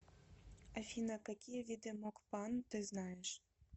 афина какие виды мокпан ты знаешь